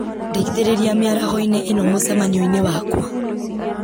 ndeithĩrĩria mĩaraho-inĩ ĩno mũcemanio-inĩ wakwa